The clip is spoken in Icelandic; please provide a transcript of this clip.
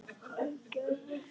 Hann gægðist ekki neitt.